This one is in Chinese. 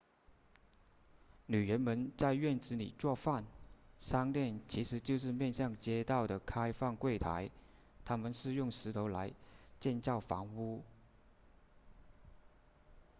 女人们在院子里做饭商店其实就是面向街道的开放柜台他们用石头来建造房屋